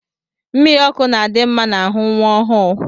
Mmiri ọkụ na-adi mma n'ahụ nwa ọhụụ